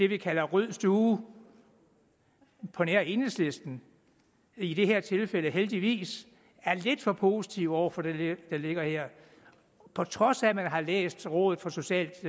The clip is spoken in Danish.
vi kalder rød stue på nær enhedslisten i det her tilfælde heldigvis er lidt for positive over for det der ligger her på trods af at man har læst rådet for socialt